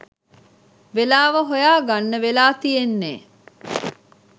වෙලාව හොයා ගන්න වෙලා තියෙන්නේ.